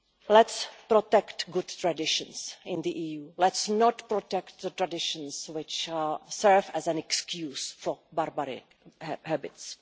of. Let's protect good traditions in the EU. Let's not protect traditions which serve as an excuse for barbaric habits.